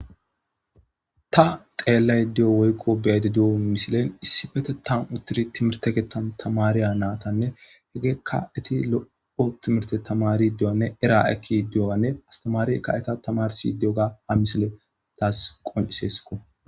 Ta xeellay di'o woykko beyedi du'on misilen issi bete tan uttiri timirteke tamariya naatanne hegeekka eti lo'o timirte tamari di'oanne era ekki di'oanne astamari ka eta tamarsi di'oga ha misile taas qoniseesko